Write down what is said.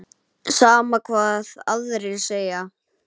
Sama hvað aðrir segja.